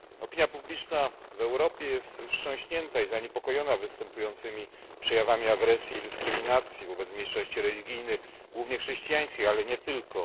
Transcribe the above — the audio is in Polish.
Opinia publiczna w Europie jest wstrząśnięta i zaniepokojona występującymi przejawami agresji i dyskryminacji wobec mniejszości religijnych, głównie chrześcijańskich, ale nie tylko.